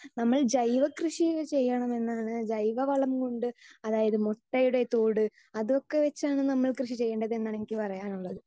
speaker 2 നമ്മൾ ജൈവ കൃഷി ചെയ്യണം എന്നാണ് ജൈവ വളം കൊണ്ട് അതായത് മുട്ടയുടെ തോട് അതൊക്കെ വെച്ചാണ് നമ്മൾ കൃഷി ചെയ്യണ്ടത് എന്നാണ് എനിക്ക് പറയാനുള്ളത്